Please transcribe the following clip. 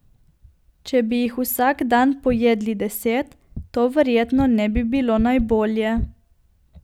Če bi jih vsak dan pojedli deset, to verjetno ne bi bilo najbolje.